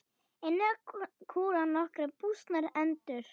Inni kúra nokkrar bústnar endur.